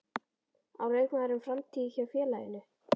Á leikmaðurinn framtíð hjá félaginu?